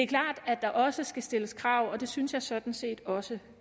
klart at der også skal stilles krav og det synes jeg sådan set også